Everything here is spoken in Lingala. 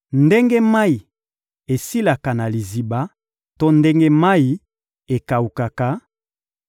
Ndenge mayi esilaka na liziba to ndenge mayi ekawukaka,